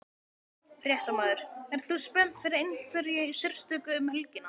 Fréttamaður: Ert þú spennt fyrir einhverju sérstöku um helgina?